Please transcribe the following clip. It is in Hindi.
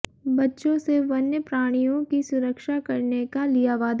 बच्चों से वन्यप्राणियों की सुरक्षा करने का लिया वादा